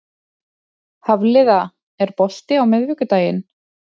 Hafliða, er bolti á miðvikudaginn?